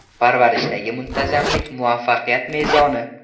Parvarishlashdagi muntazamlik – muvaffaqiyat mezoni.